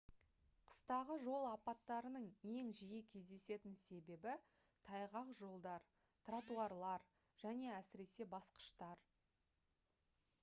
қыстағы жол апаттарының ең жиі кездесетін себебі тайғақ жолдар тротуарлар және әсіресе басқыштар